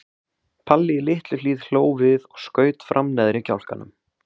Palli í Litlu-Hlíð hló við og skaut fram neðri kjálkanum.